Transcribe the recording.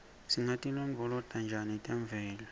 singatilondvolota njani temvelo